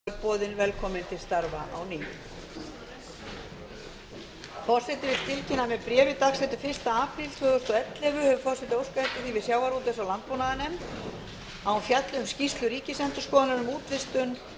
forseti vill tilkynna að með bréfi dagsettu fyrsta apríl tvö þúsund og ellefu hefur forseti óskað eftir því við sjávarútvegs og landbúnaðarnefnd að hún fjalli um skýrslu ríkisendurskoðunar um úthlutun